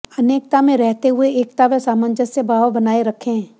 अनेकता में रहते हुए एकता व सामंजस्य भाव बनाए रखें